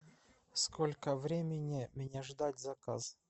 сколько времени мне ждать заказ